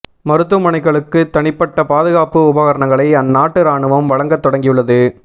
மருத்துவமனைகளுக்கு தனிப்பட்ட பாதுகாப்பு உபகரணங்களை அந்நாட்டு ராணுவம் வழங்கத் தொடங்கியுள்ளது